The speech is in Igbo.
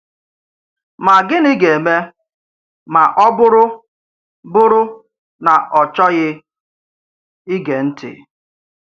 Má gịnị̀ gà àmé má ọ̀ bụrụ bụrụ ná ọ̀ chọ́ghì ígé ńtị̄?